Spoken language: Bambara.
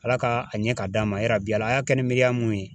ALA ka a ɲɛ ka d'a ma yarabi ALA a y'a kɛ ni miiriya mun ye.